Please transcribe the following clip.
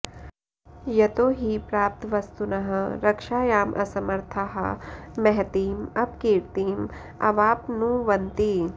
यतो हि प्राप्तवस्तुनः रक्षायाम् असमर्थाः महतीं अपकीर्तिम् अवाप्नुवन्ति